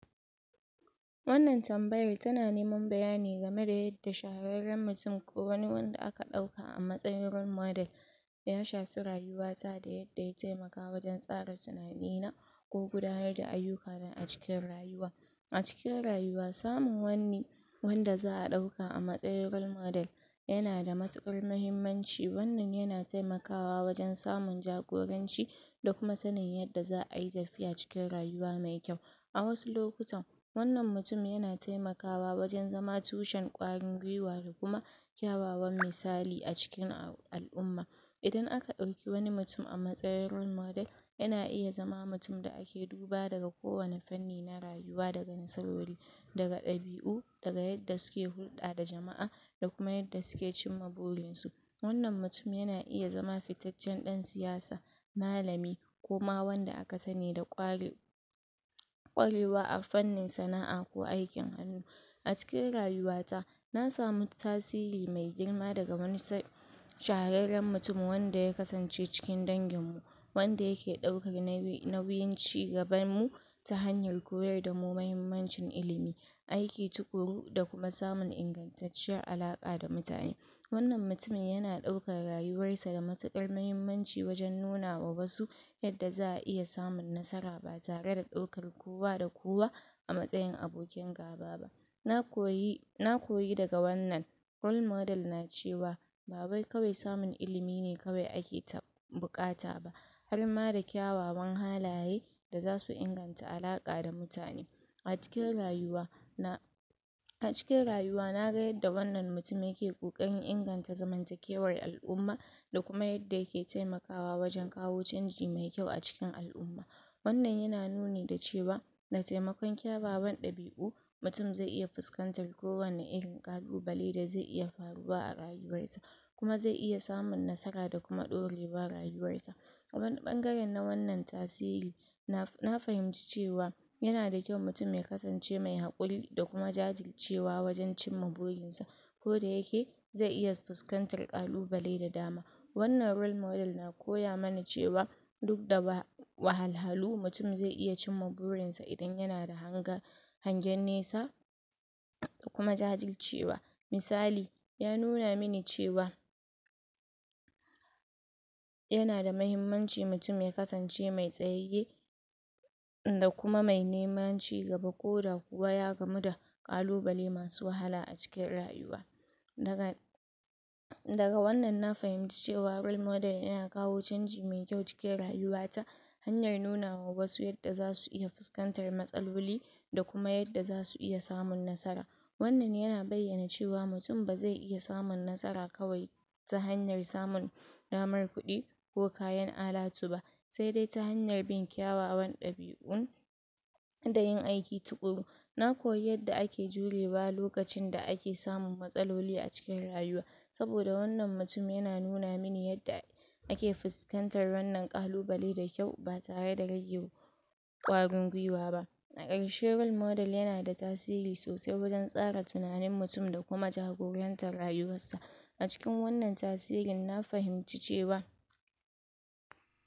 Wannan tambayar tana neman bayani game da yadda shahararren mutum ko wani wanda aka dauka a matsayin role model, ya shafe rayuwar ta da yadda ya taimaka wajan tsara tunani na ko gudanar da ayyuka na acikin rayuwa. A cikin rayuwa samun wani wanda za'a dauka a matsayin role model yana da matukar mahimmanci, wannan yana taimakawa wajan samun jagoranci, da kuma sanin yadda za'a yi tafiya a cikin rayuwa mai kyau. a wasu lokutan wannan mutum yana taimakawa wajan zama tushen kwarin gwiwa da kuma kyawawan misali acikin al'umma. Idan aka dauki wani mutum a matsayin role model yana iya zama mutum da ake doba daga ko wani fanni na rayuwa daga musawari, daga ɗabiu, daga yadda suke hulɗa da jama'a da kuma yadda suke cimma burin su. Wannan mutum yana iya zama fitaccen dan siyasa, malami ko ma wanda aka sani da kwarewa a fannin sana'a ko aikin hannu. A cikin rayuwa ta na samu tasiri mai girma daga wani shahararren mutum wanda ya kasance cikin dangin mu, wanda yake daukar nauyin cigabar mu ta hanyar koyar damu mahimmanci ilimi, aiki tukuru da kuma samun ingantacciyar alka da mutane. Wannan mutumin yana daukar rayuwar sa da matukar mahimmanci wajan nunawa wasu yadda za'a iya samun nasara ba tare da daukar kowa da kowa a matsayin abokin gaba ba. Na koyi daga wannan role model na cewa, ba wai kawai samun ilimi ne kawai ake keta bukata ba, har ma da kyawawan halaye da zasu inganta alaka da mutane. Acikin rayuwa na Acikin rayuwa na ga yadda wannan mutum yake kokarin inganta zamantakewar al'umma da kuma yadda yake taimakawa wajen kawo canji mai kyau acikin al'umma. Wannan yana nuni da cewa da taimakon kyawawan ɗabiu mutum zai iya fuskantar kowani irin kalubale da zai iya faruwar a rayuwar sa. Kuma zai iya samun nasara da kuma dorewa rayuwar sa. Ta wani ɓangaren na wannan tasiri, na fahimci cewa yana da kyau mutum ya kasance mai hakuri da kuma jajircewa wajan cimma burin sa. Koda yake zai iya fuskantar kalubale da dama. Wannan role model na koya mana cewa duk da wahalhalu mutum zai iya cimma burin sa idan yana da hagen nesa da kuma jajircewa. Misali, ya nuna min cewa yana da mahimmanci mutum ya kasance mai tsayeye da kuma mai neman cigaba koda kuwa ya gamu da kalubale masu wahala a cikin rayuwa. Daga, Daga wannan na fahimci cewa role model yana kawo canji mai kyau acikin rayuwa ta, hanyar nuna wa wasu yadda zasu dinga fuskantar matsaloli da kuma yadda zasu iya samun nasara. Wannan yana bayyana cewa mutum bazai iya samun nasara kawai ta hanyar samun damar kuɗi ko kayan alatu ba, sai dai ta hanyar bin kyawawan ɗabiu da yi aiki tukuru. Na koyi yadda ake jurewa a lokacin da ake samun matsaloli a cikin rayuwa saboda wannan mutum yana nuna mini yadda ake fuskantar wannan kalubale da kyau ba tare da rage kwarin gwiwa ba. Da karshe role model yana tasiri sosai wajan tsara tunani mutum da kuma jagorantar rayuwar sa, acikin wannan tasirin na fahimci cewa.